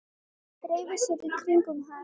Dreifi sér í kringum hann.